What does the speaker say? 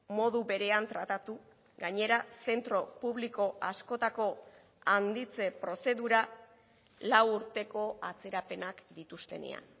modu berean tratatu gainera zentro publiko askotako handitze prozedura lau urteko atzerapenak dituztenean